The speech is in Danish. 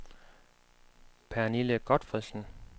Pernille Gotfredsen